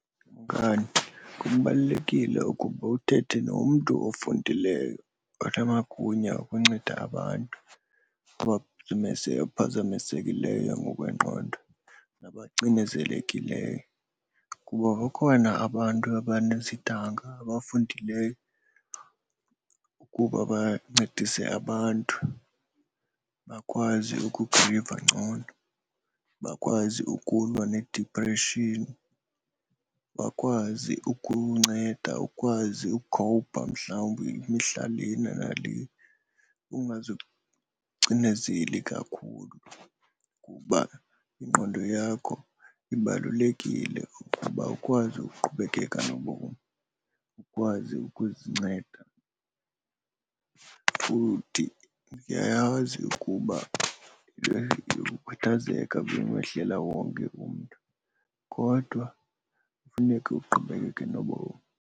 Ukanti kubalulekile ukuba uthethe nomntu ofundileyo onamagunya okunceda abantu abaphazamisekileyo ngokwengqondo nabacinezelekileyo. Kuba bakhona abantu abanezidanga abafundileyo ukuba bancedise abantu bakwazi ukuziva ngcono, bakwazi ukulwa needipreshini, bakwazi ukunceda ukwazi ukhowupha mhlawumbi imihla lena nale. Ungazicinezeli kakhulu kuba ingqondo yakho ibalulekile ukuba ukwazi uqhubekeka nobomi, ukwazi ukuzinceda. Futhi ndiyayazi ukuba le yokukhathazeka ibimehlela wonke umntu, kodwa kufuneke uqhubekeke nobomi.